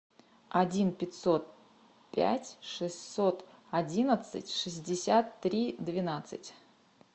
один пятьсот пять шестьсот одиннадцать шестьдесят три двенадцать